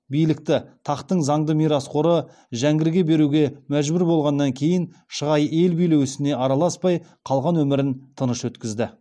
билікті тақтың заңды мирасқоры жәңгірге беруге мәжбүр болғаннан кейін шығай ел билеу ісіне араласпай қалған өмірін тыныш өткізді